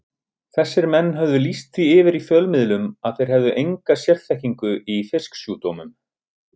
Þessir menn höfðu lýst því yfir í fjölmiðlum að þeir hefðu enga sérþekkingu í fisksjúkdómum.